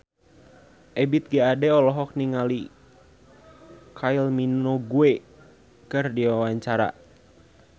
Ebith G. Ade olohok ningali Kylie Minogue keur diwawancara